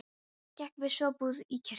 Og gekk við svo búið í kirkju.